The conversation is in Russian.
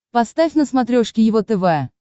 поставь на смотрешке его тв